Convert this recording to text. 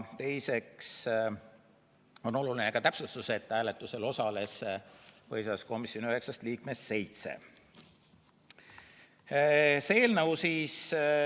Teiseks on oluline ka täpsustus, et hääletusel osales põhiseaduskomisjoni üheksast liikmest seitse.